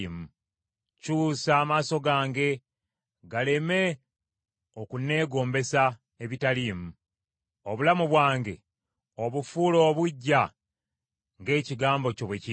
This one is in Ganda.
Kyusa amaaso gange galeme okunneegombesa ebitaliimu; obulamu bwange obufuule obuggya ng’ekigambo kyo bwe kiri.